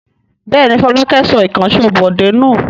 Bẹ́ẹ̀ ni, Fọlákẹ́ sọ ìkànṣó Bọ̀dé nù.